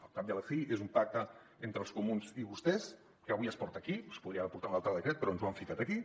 al cap i a la fi és un pacte entre els comuns i vostès que avui es porta aquí es podria haver portat en un altre decret però ens ho han ficat aquí